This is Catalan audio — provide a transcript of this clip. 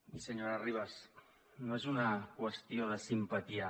i senyora ribas no és una qüestió de simpatia